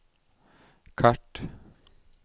kart